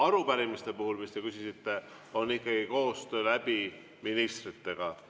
Arupärimiste puhul, mille kohta te küsisite, on ikkagi koostöö ministritega.